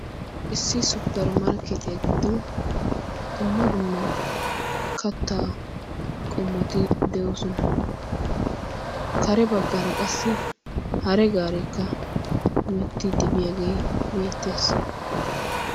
Issi supperi markketiyaa giddon dumma dumma katta qomoti de'oosona. kare baggaara qassi hare gaareekka himetti dibiyaagee beettees.